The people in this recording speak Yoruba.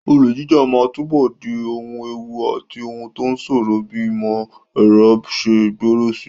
Olè jíjà máa túbọ̀ di ohun ewu àti ohun tó ṣòro bí ìmọ̀ ẹ̀rọ ṣe ń gbòòrò síi.